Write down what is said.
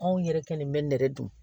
Anw yɛrɛ kelen bɛ nɛrɛ dun